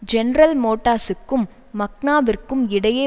general மோட்டார்ஸுக்கும் மக்னாவிற்கும் இடையே